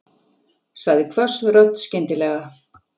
sagði hvöss rödd skyndilega.